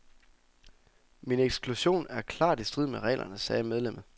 Min eksklusion er klart i strid med reglerne, sagde medlemmet.